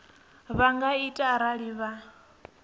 vha nga ita arali vha